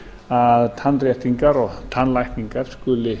að tannréttingar og tannlækningar skuli